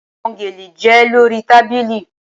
Awọn gele jẹ lori tabili